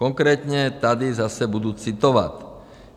Konkrétně, tady zase budu citovat.